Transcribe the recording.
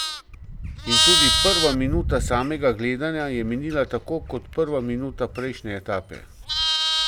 In tudi prva minuta samega gledanja je minila tako kot prva minuta prejšnje etape.